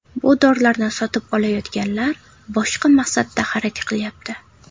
Bu dorilarni sotib olayotganlar boshqa maqsadda xarid qilayapti.